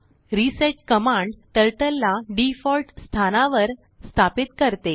reset command Turtleला default स्थानावर वर स्थापित करते